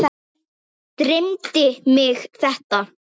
Dreymdi mig þetta?